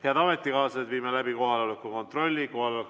Head ametikaaslased, viime läbi kohaloleku kontrolli!